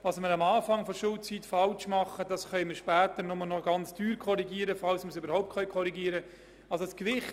Was wir am Anfang der Schulzeit falsch machen, können wir später nur noch mit grossem Aufwand korrigieren, falls wir es überhaupt korrigieren können.